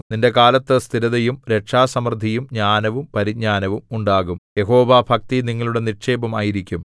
നിന്റെ കാലത്ത് സ്ഥിരതയും രക്ഷാസമൃദ്ധിയും ജ്ഞാനവും പരിജ്ഞാനവും ഉണ്ടാകും യഹോവാഭക്തി നിങ്ങളുടെ നിക്ഷേപം ആയിരിക്കും